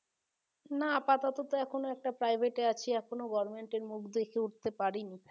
না আপাতত তো এখন একটা private এ আছি এখনো government এর মুখ দেখে উঠতে পারিনি